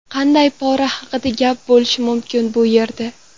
Qanday pora haqida gap bo‘lishi mumkin bu yerda?